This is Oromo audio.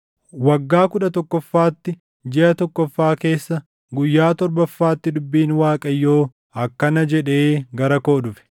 Waggaa kudha tokkoffaatti, jiʼa tokkoffaa keessa, guyyaa torbaffaatti dubbiin Waaqayyoo akkana jedhee gara koo dhufe: